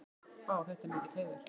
Vá, þetta er mikill heiður.